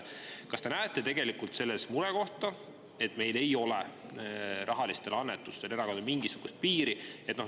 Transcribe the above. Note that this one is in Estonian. Kas te näete selles murekohta, et meil ei ole erakondadele rahalistele annetustele mingisugust piiri?